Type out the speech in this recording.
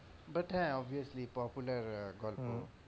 but হ্যাঁ obviously popular গল্প।